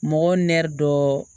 Mɔgɔw nɛri dɔ